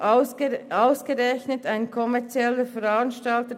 Es handelt sich dabei ausgerechnet um kommerzielle Veranstaltungen.